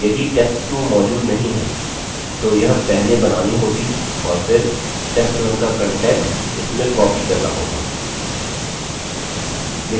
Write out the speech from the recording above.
यदि test2 मौजूद नहीं है तो यह पहले बनानी होगी और फिर test1 का content इसमें copied करना होगा